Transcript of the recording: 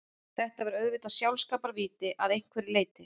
Þetta var auðvitað sjálfskaparvíti að einhverju leyti.